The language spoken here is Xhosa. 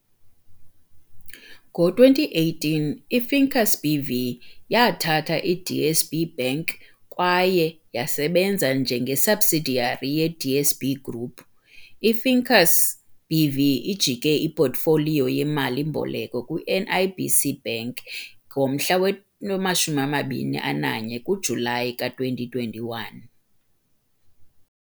Ngo-2018 "i-Finqus BV" yathatha i-DSB Bank kwaye yasebenza njenge-subsidiary ye-DSB Group. IFinqus BV ijike ipotfoliyo yemali-mboleko kwi- NIBC Bank nge-21 kaJulayi 2021.